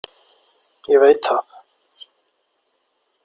Ég veit það.